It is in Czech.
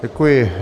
Děkuji.